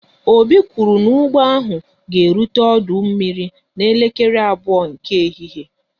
Obi kwụrụ n'ụgbọ ahụ ga erute ọdụ mmiri n'elekere abụọ nke ehihie